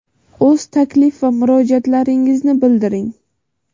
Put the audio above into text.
o‘z taklif va murojaatlaringizni bildiring.